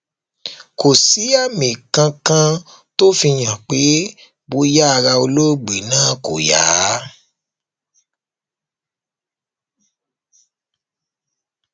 kò sì sí àmì kankan tó fi hàn pé bóyá ara olóògbé náà kò yá